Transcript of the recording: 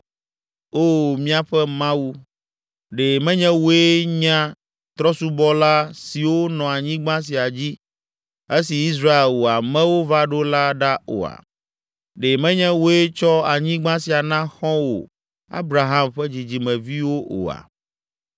Oo míaƒe Mawu, ɖe menye wòe nya trɔ̃subɔla siwo nɔ anyigba sia dzi, esi Israel, wò amewo va ɖo la ɖa oa? Ɖe menye wòe tsɔ anyigba sia na xɔ̃wò Abraham ƒe dzidzimeviwo oa?